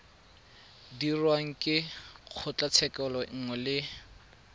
dirwang ke kgotlatshekelo nngwe le